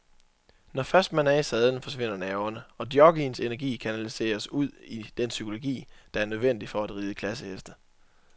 Når først man er i sadlen forsvinder nerverne, og jockeyens energi kanaliseres ud i den psykologi, der er nødvendig for at ride klasseheste.